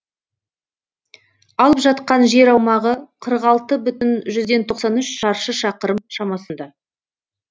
алып жатқан жер аумағы қырық алты бүтін жүзден тоқсан үш шаршы шақырым шамасында